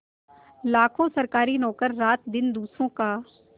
लाखों सरकारी नौकर रातदिन दूसरों का